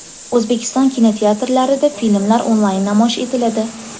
O‘zbekiston kinoteatrlarida filmlar onlayn namoyish etiladi.